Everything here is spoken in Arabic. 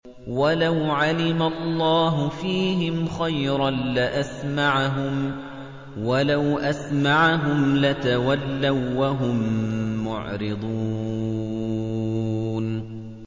وَلَوْ عَلِمَ اللَّهُ فِيهِمْ خَيْرًا لَّأَسْمَعَهُمْ ۖ وَلَوْ أَسْمَعَهُمْ لَتَوَلَّوا وَّهُم مُّعْرِضُونَ